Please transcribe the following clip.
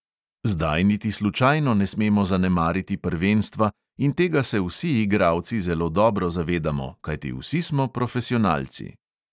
Zdaj niti slučajno ne smemo zanemariti prvenstva in tega se vsi igralci zelo dobro zavedamo, kajti vsi smo profesionalci.